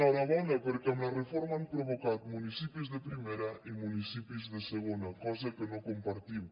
rabona perquè amb la reforma han provocat municipis de primera i municipis de segona cosa que no compartim